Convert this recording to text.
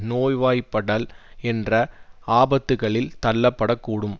நோய்வாய்ப்படல் என்ற ஆபத்துக்களில் தள்ளப்படக் கூடும்